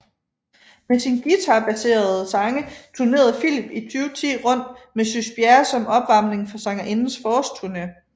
Med sine guitarbaserede sange turnerede Philip i 2010 rundt med Sys Bjerre som opvarmning for sangerindens forårsturne